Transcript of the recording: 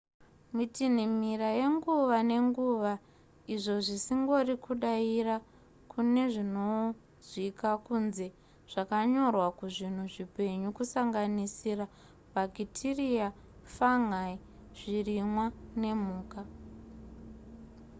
mitinhimira yenguva nenguva izvo zvisingori kudaira kunezvinonzwika kunze zvakanyorwa kuzvinhu zvipenyu kusanganisira bhakitiriya fungi zvirimwa nemhuka